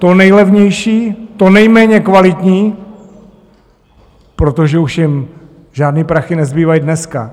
To nejlevnější, to nejméně kvalitní, protože už jim žádný prachy nezbývají dneska.